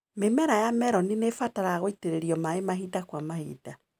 Mĩmera ya meloni nĩibataraga gũitĩrĩrio maĩ mahinda kwa mahinda.